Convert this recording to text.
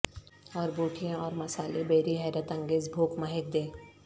اور بوٹیاں اور مصالحے بیری حیرت انگیز بھوک مہک دے